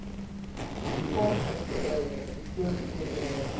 privaatmaatsappy beslote korporasie